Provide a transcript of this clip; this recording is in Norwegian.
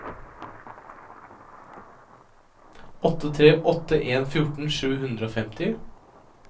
åtte tre åtte en fjorten sju hundre og femti